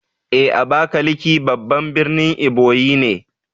Eh Abakaliki babban birnin Ebonyi ne